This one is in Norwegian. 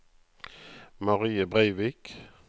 Marie Breivik